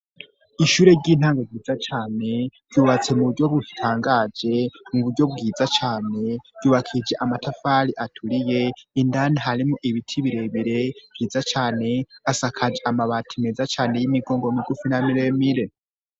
Ishure ry'intango ryiza cane ryubatse mu buryo butangaje mu buryo bwiza cane ryubakije amatafari aturiye indani harimo ibiti bire bire vyiza cane asakaje amabati meza cane y'imigongo migufi na mire mire.